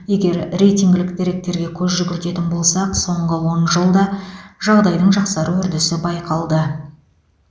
егер рейтингілік деректерге көз жүгіртетін болсақ соңғы он жылда жағдайдың жақсару үрдісі байқалды